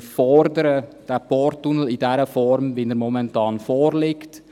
«Wir fordern den Porttunnel in der Form wie er momentan vorliegt.»